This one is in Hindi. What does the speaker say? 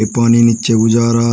पानी नीचे को जा रहा--